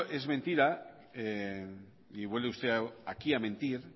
es mentira y vuelve usted aquí a mentir